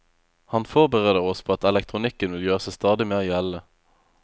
Han forbereder oss på at elektronikken vil gjøre seg stadig mer gjeldende.